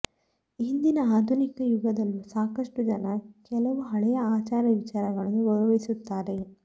ಇಂದಿನ ಆಧುನಿಕ ಯುಗದಲ್ಲೂ ಸಾಕಷ್ಟು ಜನ ಕೆಲವು ಹಳೆಯ ಆಚಾರ ವಿಚಾರಗಳನ್ನು ಗೌರವಿಸುತ್ತಾರೆ